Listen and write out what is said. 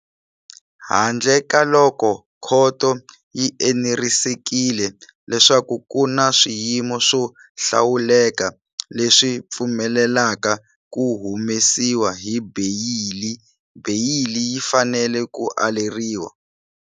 Handlekaloko khoto yi enerisekile leswaku ku na swiyimo swo hlawuleka leswi pfumelelaka ku humesiwa hi beyili, beyili yi fanele ku aleriwa.